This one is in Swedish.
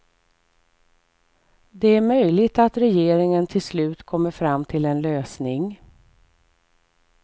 Det är möjligt att regeringen till slut kommer fram till en lösning.